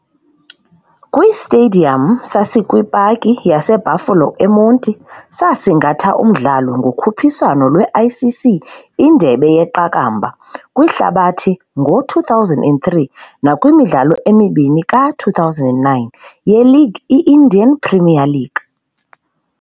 KwiStadium sasikwipaki yase-Buffalo eMonti saasingatha umdlalo ngokhuphiswano lweICC indebe yeQakambha kwihlabathi ngo-2003 nakwimidlalo emibini ka2009 ye-League i-Indian Premier League.